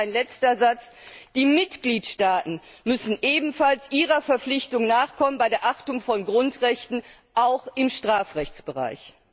Und ein letzter Satz die Mitgliedstaaten müssen ebenfalls ihrer Verpflichtung nachkommen bei der Achtung von Grundrechten auch im Strafrechtsbereich.